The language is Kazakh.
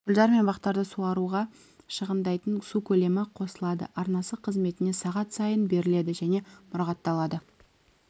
гүлзар мен бақтарды суаруға шығындайтын су көлемі қосылады арнасы қызметіне сағат сайын беріледі және мұрағатталады